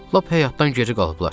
Lap həyatdan geri qalıblar.